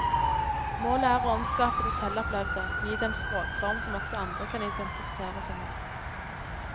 Målet er å omskape det selvopplevde, gi det en språkform som også andre kan identifisere seg med.